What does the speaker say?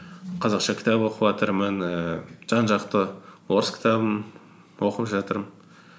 қазақша кітап оқыватырмын ііі жан жақты орыс кітабын оқып жатырмын